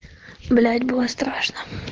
блять было страшно